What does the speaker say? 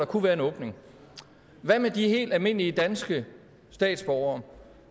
kunne være en åbning der er helt almindelige danske statsborgere